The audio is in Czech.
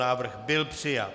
Návrh byl přijat.